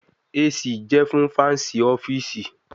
AC jẹ fun Fancy ọfiisi